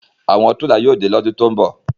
Awọn tirela yóò de lọ́dùn to ńbọ